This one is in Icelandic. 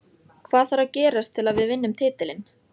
Hvað þarf að gerast til að við vinnum titilinn?